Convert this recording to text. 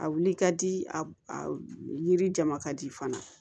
A wuli ka di a yirija ka di fana